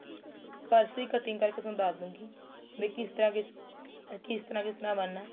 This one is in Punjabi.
purse ਦੀ ਕਿਤ੍ਟਿੰਗ ਕਰਕੇ ਤੁਹਾਨੂੰ ਦੱਸ ਦੁਗੀ ਬਈ ਕਿਸ ਤਰਾਂ ਬੀ ਕਿਸ ਤਰਾਂ ਕਿਸ ਤਰਾਂ ਬਣਨਾ